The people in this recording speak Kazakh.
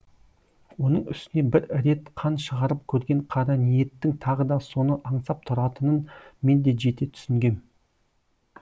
оның үстіне бір рет қан шығарып көрген қараниеттің тағы да соны аңсап тұратынын мен де жете түсінгем